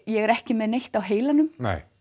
ég er ekki með neitt á heilanum